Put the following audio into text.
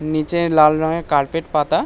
নীচে লাল রঙের কার্পেট পাতা।